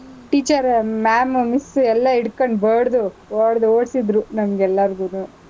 Teacher, ma’am , miss ಎಲ್ಲಾ ಹಿಡ್ಕಂಡ್ ಬಡ್ದು, ಹೊಡ್ದು ಓಡ್ಸಿದ್ರು ನಮ್ಗೆಲ್ಲಾರ್ಗೂನು.